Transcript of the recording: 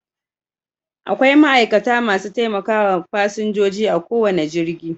Akwai ma'aikata masu taimakawa fasinjoji a kowane jirgi